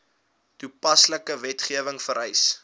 toepaslike wetgewing vereis